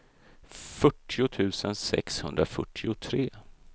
fyrtio tusen sexhundrafyrtiotre